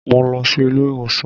Mo lọ sí ilé ìwòsàn